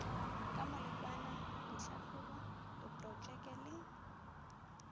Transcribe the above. ka molekwana ditlhahlobo diprotpeke le